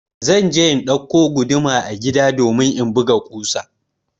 Zan je in ɗauko guduma a gida domin in buga ƙusa.